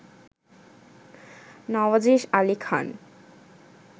Nawazesh Ali Khan